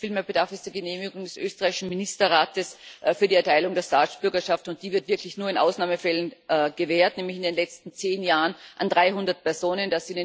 Vielmehr bedarf es der Genehmigung des österreichischen Ministerrates für die Erteilung der Staatsbürgerschaft, und die wird wirklich nur in Ausnahmefällen gewährt, nämlich in den letzten zehn Jahren an 300 Personen.